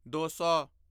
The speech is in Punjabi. ਦੋ ਸੌ